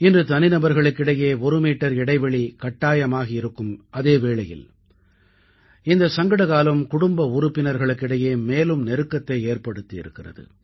இன்று தனிநபர்களுக்கிடையே ஒரு மீட்டர் இடைவெளி கட்டாயமாகி இருக்கும் அதே வேளையில் இந்தச் சங்கடகாலம் குடும்ப உறுப்பினர்களுக்கு இடையே மேலும் நெருக்கத்தை ஏற்படுத்தியிருக்கிறது